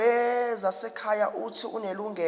wezasekhaya uuthi unelungelo